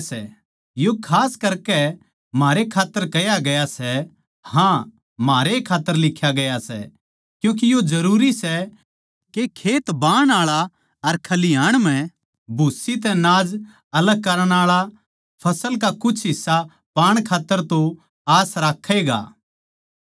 यो खास करके म्हारे खात्तर कह्या गया सै हाँ म्हारे खात्तर ए लिख्या गया सै क्यूँके यो जरूरी सै के खेत बाहण आळा अर खलिहाण म्ह भूसी तै नाज अलग करण आळा फसल का कुछ हिस्सा पाण खात्तर तो आस राक्खै ए गा